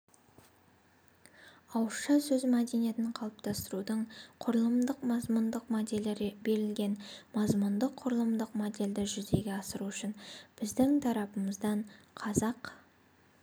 ауызша сөз мәдениетін қалыптастырудың құрылымдық-мазмұндық моделі берілген мазмұндық-құрылымдық модельді жүзеге асыру үшін біздің тарапымыздан қазақ